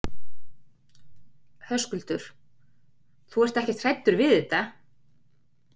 Höskuldur: Þú ert ekkert hræddur við þetta?